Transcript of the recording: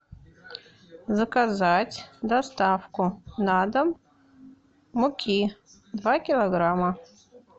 заказать доставку на дом муки два килограмма